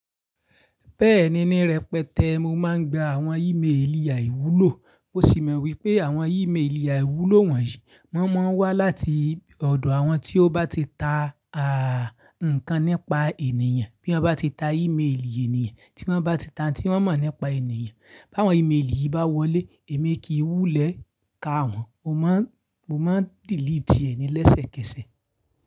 Bẹ́ẹ̀ni ní rẹpẹtẹ mo máa ń gba àwọn ímeèlì àìwúlò. Mo sì mọ wípé àwọn ímeèlì àìwúlò wọ̀nyí, wọ́n mọ́ ń wá láti ọ̀dọ̀ àwọn tí ó bá ti ta ǹkán nípa ènìyàn, bí wọ́n bá ti ta ímeèlì ènìyàn, tí wọ́n bá ti ta n tí wọ́n mọ̀ nípa ènìyàn. Bi áwon ímeèlì bá wọlé, èmi kì í wú lẹ ká wọn, mo máa ń dìlítì ẹni lẹ́sẹ̀kẹsẹ̀